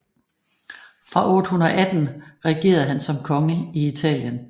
Fra 818 regerede han som konge i Italien